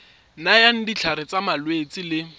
nayang ditlhare tsa malwetse le